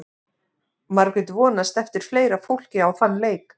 Margrét vonast eftir fleira fólki á þann leik.